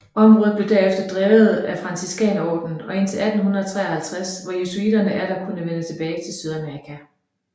Området blev derefter drevet af Franciskanerordenen indtil 1853 hvor jesuitterne atter kunne vende tilbage til Sydamerika